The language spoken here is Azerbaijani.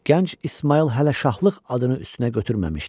Gənc İsmayıl hələ şahlıq adını üstünə götürməmişdi.